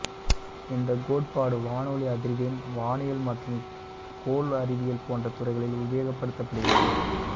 இந்தக் கோட்பாடு வானொலி அதிர்வெண் வானியல் மற்றும் கோள் அறிவியல் போன்ற துறைகளில் உபயோகப்படுத்தப்படுகிறது